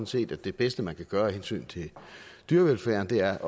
set at det bedste man kan gøre af hensyn til dyrevelfærden er at